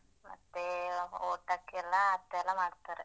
ಮತ್ತೆ ಊಟಕ್ಕೆಲ್ಲಾ ಅತ್ತೇಯೆಲ್ಲ ಮಾಡ್ತಾರೆ.